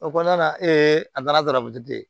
O kɔnɔna na a nana garabali de